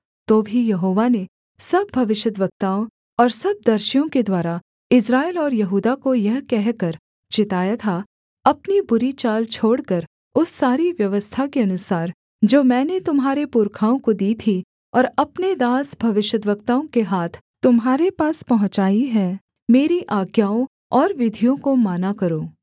तो भी यहोवा ने सब भविष्यद्वक्ताओं और सब दर्शियों के द्वारा इस्राएल और यहूदा को यह कहकर चिताया था अपनी बुरी चाल छोड़कर उस सारी व्यवस्था के अनुसार जो मैंने तुम्हारे पुरखाओं को दी थी और अपने दास भविष्यद्वक्ताओं के हाथ तुम्हारे पास पहुँचाई है मेरी आज्ञाओं और विधियों को माना करो